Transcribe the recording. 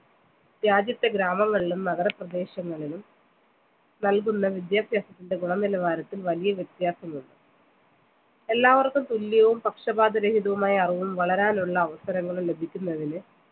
രാജ്യത്തെ ഗ്രാമങ്ങളിലും നഗരപ്രദേശങ്ങളിലും നൽകുന്ന വിദ്യാഭ്യാസത്തിന്റെ ഗുണനിലവാരത്തിൽ വലിയ വ്യത്യാസമുണ്ട് എല്ലാവർക്കും തുല്യവും പക്ഷപാതരഹിതവുമായ അറിവും വളരാനുള്ള അവസരങ്ങളും ലഭിക്കുന്നതിന്